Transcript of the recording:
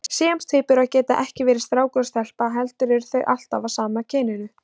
Síamstvíburar geta ekki verið strákur og stelpa heldur eru þeir alltaf af sama kyninu.